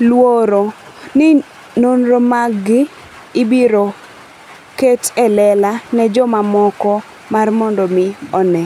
luoro ni nonro maggi ibiro ket e lela ne jomamoko mar mondo omi one.